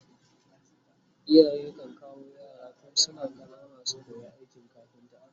iyaye kan kawo yara tun suna ƙanana su koya aikin kafinta